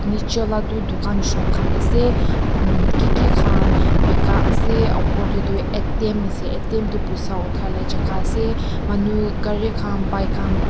nicche lah tu dukan shop khan ase umm ki ki khan bika ase upor teh tu A_T_M tu poisa uthai lah jaga ase manu gari khan bike khan--